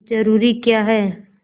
जरूरी क्या है